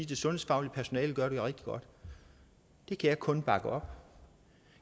det sundhedsfaglige personale gør det rigtig godt det kan jeg kun bakke op